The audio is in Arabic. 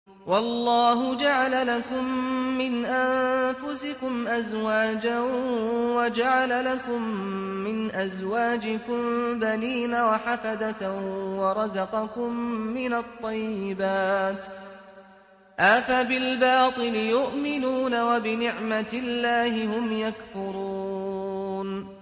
وَاللَّهُ جَعَلَ لَكُم مِّنْ أَنفُسِكُمْ أَزْوَاجًا وَجَعَلَ لَكُم مِّنْ أَزْوَاجِكُم بَنِينَ وَحَفَدَةً وَرَزَقَكُم مِّنَ الطَّيِّبَاتِ ۚ أَفَبِالْبَاطِلِ يُؤْمِنُونَ وَبِنِعْمَتِ اللَّهِ هُمْ يَكْفُرُونَ